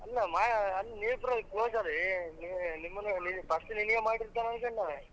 ಅಲ್ಲಾ ಮಾ~ ನೀವಿಬ್ರು close ಅಲ್ಲಲ್ಲೇ ನೀವ್ ನಿಮ್ಮನ್ first ನಿನಗ ಮಾಡಿರ್ತಾನ ಅನ್ಕೊಂಡೆ ನಾನ್.